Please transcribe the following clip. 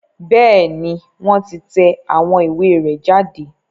Bẹ́ẹ̀ni, wọn ti tẹ awọn iwe rẹ jade